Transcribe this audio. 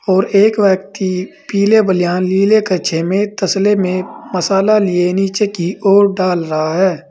और एक व्यक्ति पीले बलियान नीले कच्छे में तसले में मसाला लिए नीचे की ओर डाल रहा है।